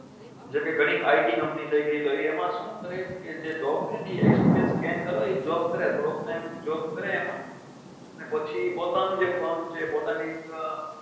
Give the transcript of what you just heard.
. જેમ કે ગણી it company થઇ ગઈ તો એમાં શું કરે કે જે job એ experience scane કરવા એ job કરે of time job કરે એમાં અને પછી પોતાનો જે plan છે પોતાની